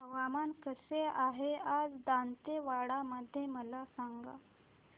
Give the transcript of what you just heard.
हवामान कसे आहे आज दांतेवाडा मध्ये मला सांगा